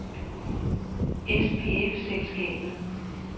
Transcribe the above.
SPF-Selskabet